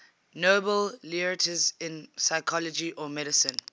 nobel laureates in physiology or medicine